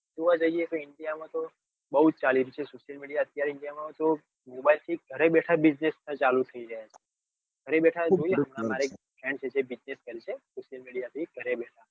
અમારે india માં તો અત્યારે india માં તો ઘરે બેઠા business માં ચાલુ થઇ જાય ઘરે બેઠા જોઈએ તો business છે. social media થી ઘરે બેઠા